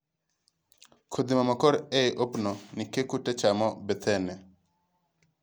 kodhi mamakore eiy opdo nikeh kute chamo bethene.